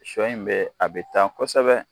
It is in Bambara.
Sɔ in bɛ a bɛ taa kosɛbɛ.